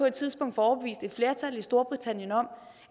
et tidspunkt får overbevist et flertal i storbritannien om